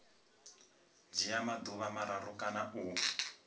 dzhia maḓuvha mararu kana u